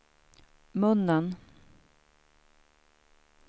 munnen